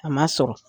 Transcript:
A ma sɔrɔ